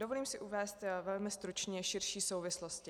Dovolím si uvést velmi stručně širší souvislosti.